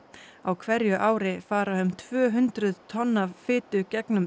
á hverju ári fara um tvö hundruð tonn af fitu gegnum